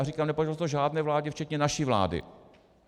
A říkám, nepovedlo se to žádné vládě včetně naší vlády.